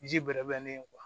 Ji bɛrɛ bɛnnen ye